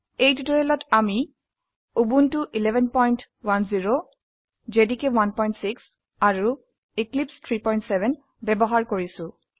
এই টিউটোৰিয়ালত আমি উবুন্টু 1110 জেডিকে 16 আৰু এক্লিপছে 370 ব্যবহাৰ কৰিছো